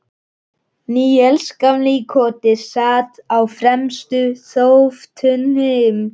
Níels gamli í Koti sat á fremstu þóftunni.